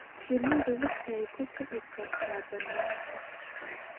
Shinnidu waxay ku kici kartaa bannaanka.